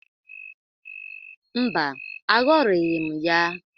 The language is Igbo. Mba, aghọrịghị m ya.